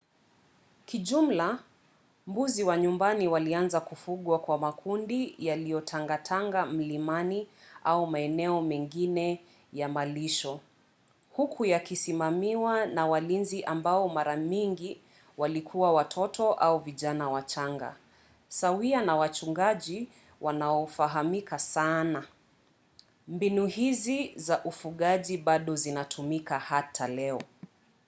kijumla mbuzi wa nyumbani walianza kufugwa kwa makundi yaliyotangatanga milimani au maeneo mengine ya malisho huku yakisimamiwa na walinzi ambao mara nyingi walikuwa watoto au vijana wachanga sawia na wachungaji wanaofahamika sana. mbinu hizi za ufugaji bado zinatumika hata leo